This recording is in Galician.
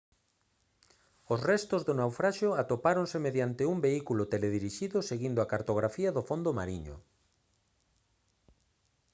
os restos do naufraxio atopáronse mediante un vehículo teledirixido seguindo a cartografía do fondo mariño